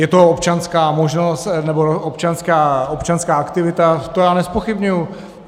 Je to občanská možnost nebo občanská aktivita, to já nezpochybňuji.